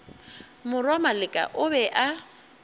morwa maleka o be a